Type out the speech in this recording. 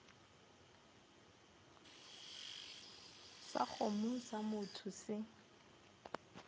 sa kgomo sa motho se